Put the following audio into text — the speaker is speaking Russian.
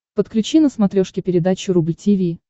подключи на смотрешке передачу рубль ти ви